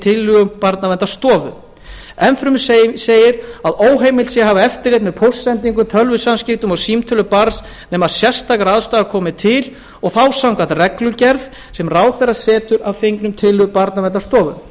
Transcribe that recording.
tillögum barnaverndarstofu enn fremur segir að óheimilt sé hafa eftirlit með póstsendingum tölvusamskiptum og símtölum barns nema sérstakar ástæður komi til og þá samkvæmt reglugerð sem ráðherra setur að fengnum tillögum barnaverndarstofu